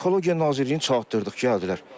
Ekologiya Nazirliyini çatırdıq, gəldilər.